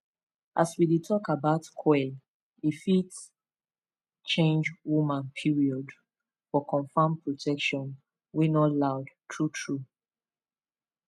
as we dey talk about coil e fit change woman period for confirmed protection wey no loud true true small pause